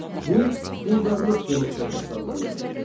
Bu, quldarlıq demokratiyası adlanırdı.